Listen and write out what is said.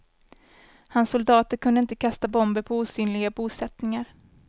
Hans soldater kunde inte kasta bomber på osynliga bosättningar.